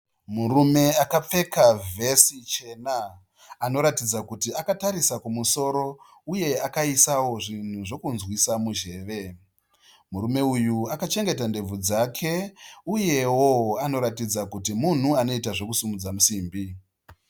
Murume akapfeka vesi chena. Anoratidza kuti akatarisa kumusoro uyewo akaisa zvinhu zvekunzwisa munzeve. Murume uyu akachengeta ndebvu dzake uyewo anoratidza kuti munhu anoita zvokusimudza simbi.